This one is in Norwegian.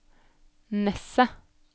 Nesset